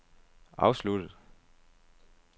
afsluttet